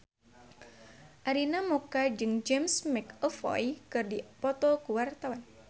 Arina Mocca jeung James McAvoy keur dipoto ku wartawan